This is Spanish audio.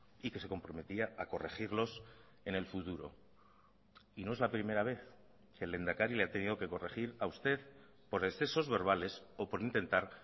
y que se comprometía a corregirlos en el futuro y no es la primera vez que el lehendakari le ha tenido que corregir a usted por excesos verbales o por intentar